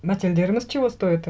мәтелдеріміз чего стоит і